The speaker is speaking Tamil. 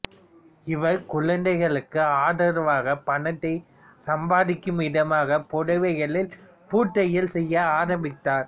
இவர் குழந்தைகளுக்கு ஆதரவாக பணத்தை சம்பாதிக்கும் விதமாக புடவைகளில் பூத்தையல் செய்ய ஆரம்பித்தார்